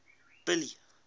billy